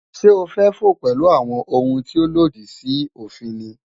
Sé o fę fò pęlú àwon oun tí òlòdì sí òfin ni?